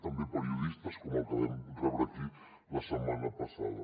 també periodistes com el que vam rebre aquí la setmana passada